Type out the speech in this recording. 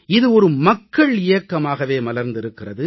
இது ஒரு மக்கள் இயக்கமாகவே மலர்ந்திருக்கிறது